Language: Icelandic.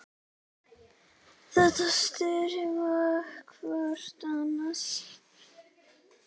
Þetta styður hvort annað.